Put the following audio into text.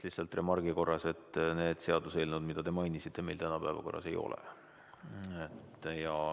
Lihtsalt remargi korras ütlen, et need seaduseelnõud, mida te mainisite, meil täna päevakorras ei ole.